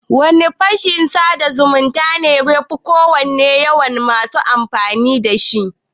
Wane fashin sada zumunta ne yafi kowanne yawan masu amfani da shi?